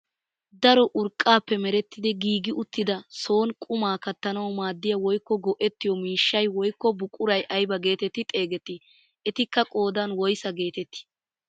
Daro urqqaappe merettidi giigi uttida soni qumaa kattanawu maaddiyaa woykko go"ettiyoo miishshay woykko buquray aybaa getetti xeegettii? etikka qoodan woysaa getettii?